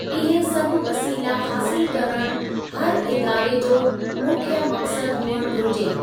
इहे सभु वसीला हासिलु करण हर इदारे जो मुख्य मक़सद हुअणु घुरिजे।